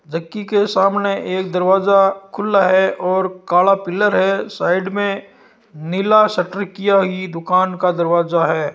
चक्की के सामने एक दरवाजा खुला है और काला पिलर है साइड में नीला सटर किया यह दुकान का दरवाजा है।